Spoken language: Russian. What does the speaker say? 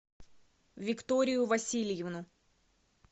викторию васильевну